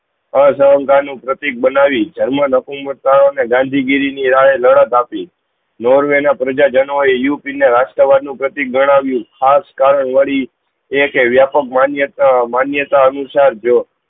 આ સંતા નું પ્રતિક જર્મન હુકુમતિઆઓ એ ગાંધી ગીરી ની રાયે લડત આપી નોર્વે ના પ્રજા જનો ને ઉપીન એ રાષ્ટ્રવાદ નું પ્રતિક ગણાયું ખાસ કારણ વળી એ કે વ્યકો માણ્યે તો માણ્યે તો અનુસાર તો